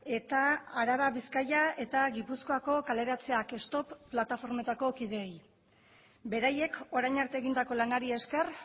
eta araba bizkaia eta gipuzkoako kaleratzeak stop plataformeetako kidei beraiek orain arte egindako lanari esker